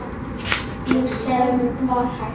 Ég sem var hætt.